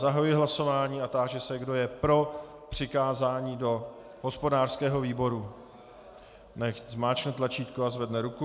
Zahajuji hlasování a táži se, kdo je pro přikázání do hospodářského výboru, nechť zmáčkne tlačítko a zvedne ruku.